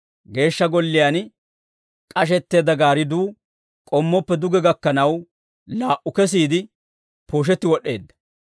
Geeshsha Golliyaan k'ashetteedda gaaridduu k'ommoppe duge gakkanaw, laa"u kesiide pooshetti wod'd'eedda.